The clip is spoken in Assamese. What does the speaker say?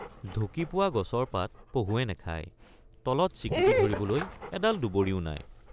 ঢুকিপোৱা গছৰ পাত পহুৱে নাখায় তলত চিকুটি ধৰিবলৈ এডাল দুবৰিও নাই।